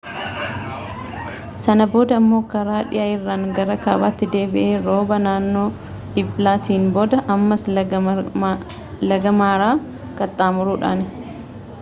sana booda immoo karaa dhihaa irraan gara kaabaatti deebi'e rooba naanoo eblaatiin booda ammas laga maaraa qaxxaamuruudhaan